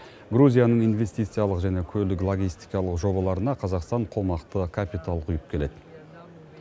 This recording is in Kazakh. грузияның инвестициялық және көлік логистикалық жобаларына қазақстан қомақты капитал құйып келеді